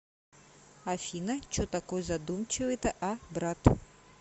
афина че такой задумчивый то а брат